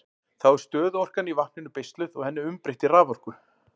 Þá er stöðuorkan í vatninu beisluð og henni umbreytt í raforku.